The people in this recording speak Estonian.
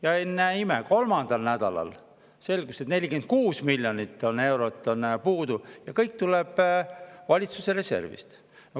Ja ennäe imet, kolmandal nädalal selgus, et 46 miljonit eurot on puudu ja see kõik tuleb valitsuse reservist.